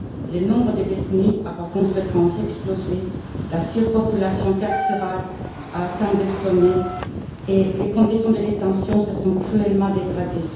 Le nombre de détenus a par conséquent explosé, la surpopulation carcérale a atteint des sommets et les conditions de détention se sont cruellement dégradées.